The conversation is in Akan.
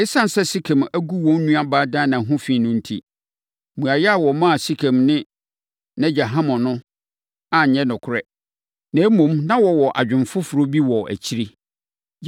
Esiane sɛ na Sekem agu wɔn nuabaa Dina ho fi no enti, mmuaeɛ a wɔmaa Sekem ne nʼagya Hamor no anyɛ nokorɛ. Na mmom, na wɔwɔ adwene foforɔ bi wɔ akyire.